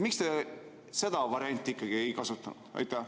Miks te ikkagi seda varianti ei kasutanud?